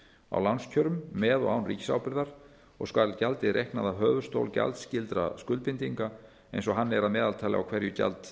á lánskjörum með og án ríkisábyrgðar og skal gjaldið reiknað af höfuðstól gjaldskyldra skuldbindinga eins og hann er að meðaltali á hverju